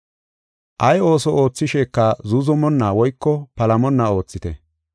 Ay ooso oothisheka zuuzumonna woyko palamonna oothite.